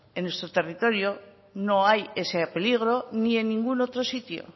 en nuestro territorio no hay ese peligro ni en ningún otro sitio